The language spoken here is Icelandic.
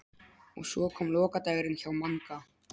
Og svo kom lokadagurinn hjá Manga.